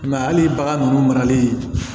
I m'a ye hali bagan ninnu marali